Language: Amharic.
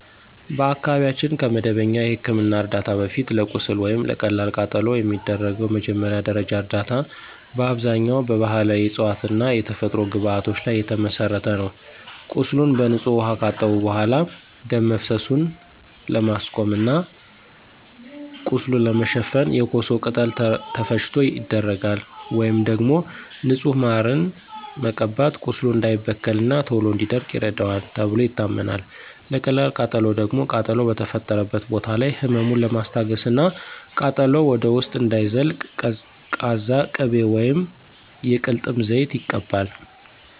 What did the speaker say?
በአካባቢያችን ከመደበኛ የሕክምና ዕርዳታ በፊት፣ ለቁስል ወይም ለቀላል ቃጠሎ የሚደረገው መጀመሪያ ደረጃ እርዳታ በአብዛኛው በባሕላዊ ዕፅዋትና የተፈጥሮ ግብዓቶች ላይ የተመሠረተ ነው። ቁስሉን በንጹህ ውኃ ካጠቡ በኋላ፣ ደም መፍሰሱን ለማስቆም እና ቁስሉን ለመሸፈን የኮሶ ቅጠል ተፈጭቶ ይደረጋል። ወይም ደግሞ ንጹህ ማርን መቀባት ቁስሉ እንዳይበከልና ቶሎ እንዲደርቅ ይረዳዋል ተብሎ ይታመናል። ለቀላል ቃጠሎ ደግሞ ቃጠሎው በተፈጠረበት ቦታ ላይ ህመሙን ለማስታገስና ቃጠሎው ወደ ውስጥ እንዳይዘልቅ ቀዝቃዛ ቅቤ ወይም የቅልጥም ዘይት ይቀባል።